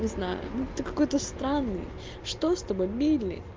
не знаю ты какой-то странный что с тобой билли